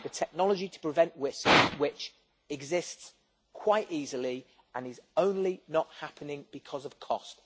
The technology to prevent this exists quite easily, and is only not happening because of cost.